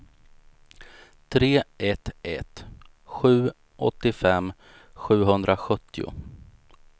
tre ett ett sju åttiofem sjuhundrasjuttio